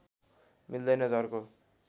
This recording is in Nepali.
मिल्दैन झर्को